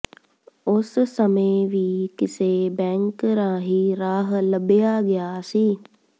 ਉਸ ਸਮੇਂ ਵੀ ਕਿਸੇ ਬੈਂਕ ਰਾਹੀ ਰਾਹ ਲੱਭਿਆ ਗਿਆ ਸੀ